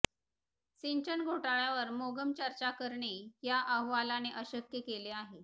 सिंचन घॊटाळ्यावर मोघम चर्चा करणे या अहवालाने अशक्य केले आहे